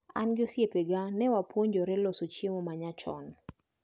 An gi osiepega newapuonjre loso chiemo manyachon.